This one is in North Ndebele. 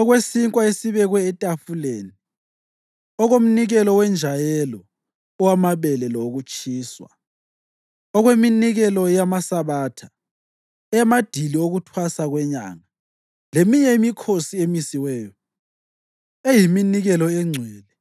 okwesinkwa esibekwe etafuleni; okomnikelo wenjayelo owamabele lowokutshiswa; okweminikelo yamaSabatha, eyamadili okuThwasa kweNyanga leminye imikhosi emisiweyo; eyiminikelo engcwele,